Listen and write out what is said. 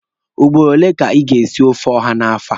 Ugboro ole ka ị ga-esi ofe ọha n'afọ a?